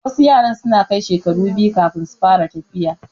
Wasu yaran suna kai shekaru biyu kafin su fara tafiya